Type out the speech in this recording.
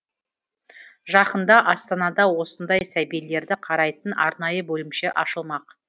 жақында астанада осындай сәбилерді қарайтын арнайы бөлімше ашылмақ